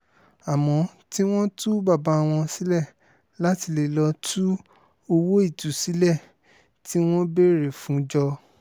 àmọ́ tí wọ́n tú bàbá wọn sílẹ̀ láti lè lọ́ọ́ tú owó ìtúsílẹ̀ tí wọ́n béèrè fún jọ